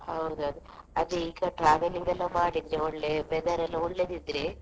ಹೌದು ಅದ್ ಅದೇ ಈಗ travelling ಎಲ್ಲ ಮಾಡಿದ್ರೆ ಒಳ್ಳೆ weather ಎಲ್ಲ ಒಳ್ಳೆದಿದ್ರೆ.